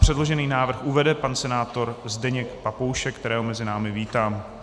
Předložený návrh uvede pan senátor Zdeněk Papoušek, kterého mezi námi vítám.